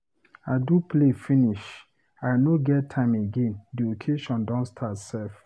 I do play finish. I no get time again, the occasion don start sef.